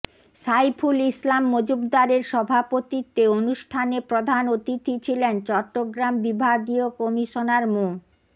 সাইফুল ইসলাম মজুমদারের সভাপতিত্বে অনুষ্ঠানে প্রধান অতিথি ছিলেন চট্টগ্রাম বিভাগীয় কমিশনার মো